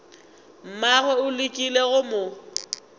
mmagwe o lekile go mo